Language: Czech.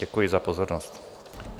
Děkuji za pozornost.